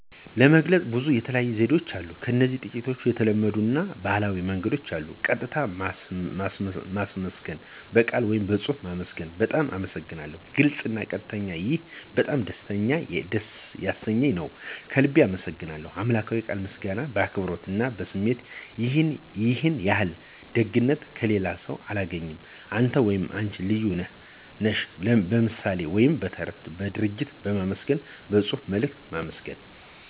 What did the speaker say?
ለመግለጽ ብዙ የተለያዩ ዘዴዎችን አሉ እዚህ ጥቂት የተለመዱ አና ባህላዊ መንገዶች አሉ። ቀጥታ ማመስገን (በቃል ወይም በጽሑፍ ማመስገን ) "በጣም አመሰግናለሁ "(ግልጽ አና ቀጥተኛ ) "ይህ በጣም ደስ ያሰኘኝ ነው። ከልቤ አመሰግናለሁ ;" "በአምላክዊ ቃል ምስጋና በአክብሮት አና በስሜት"ይህን ያህል ደግነት ከሌላስው አላገኘሁም። አንተ /አነች ልዩ ነህ /ነሽ ;" በምሣሌ ወይም በተረት በድርጊት ማመስገን በጽሑፍ መልእክት ማመስገን